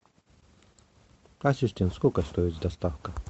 ассистент сколько стоит доставка